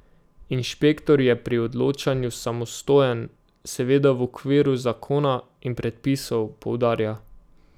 Inšpektor je pri odločanju samostojen, seveda v okviru zakona in predpisov, poudarja.